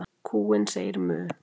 Kúin segir „mu“.